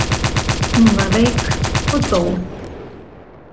Hún var veik og dó.